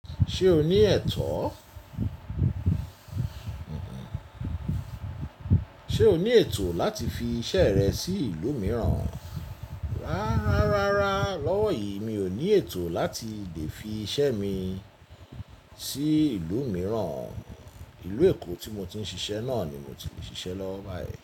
Ṣé o ní ètò? Ṣé o ní ètò láti fi iṣẹ́ rẹ sí ìlú mìíràn? Rárá, lọ́wọ́ yìí mi ò ní ètò láti lè fi iṣẹ́ mi sí ìlú mìíràn. Ìlú Èkó tí mo ti ń ṣiṣẹ́ náà ni mo ti lè ṣiṣẹ́ lọwo bayii.